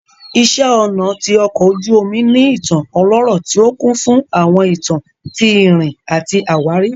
Iṣẹ́ ọnà ti ọkò ojú omu ní ìtàn ọlọ́rọ̀ tí ó kún fún àwọn ìtàn tí ìrìn àti àwárí